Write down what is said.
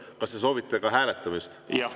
Kas te soovite ka hääletamist?